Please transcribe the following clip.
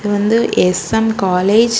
வந்து S M college .